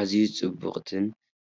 ኣዝዩ ጽብቕትን